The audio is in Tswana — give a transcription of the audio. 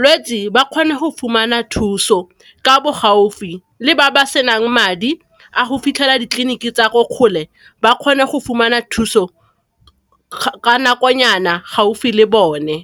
lwetsi ba kgone go fumana thuso ka bo gaufi le ba ba senang madi a go fitlhela ditleliniki tsa ko kgole ba kgone go fumana thuso ka nakonyana gaufi le bone.